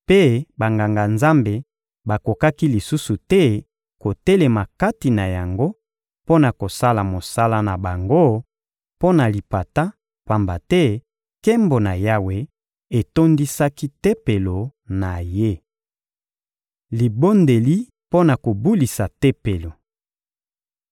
mpe Banganga-Nzambe bakokaki lisusu te kotelema kati na yango mpo na kosala mosala na bango mpo na lipata, pamba te nkembo na Yawe etondisaki Tempelo na Ye. Libondeli mpo na kobulisa Tempelo